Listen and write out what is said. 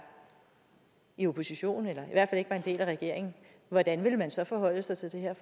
i opposition eller i hvert fald ikke var en del af regeringen hvordan ville man så forholde sig til det her